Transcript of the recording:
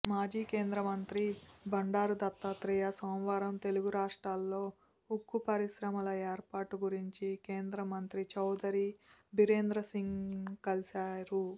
మాజీ కేంద్రమంత్రి బండారు దత్తాత్రేయ సోమవారం తెలుగు రాష్ట్రాలలో ఉక్కు పరిశ్రమల ఏర్పాటు గురించి కేంద్రమంత్రి చౌదరి బీరేంద్రసింగ్ను కలిశారు